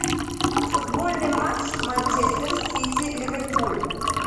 футбольный матч манчестер сити ливерпуль